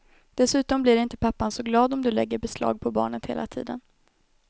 Dessutom blir inte pappan så glad om du lägger beslag på barnet hela tiden.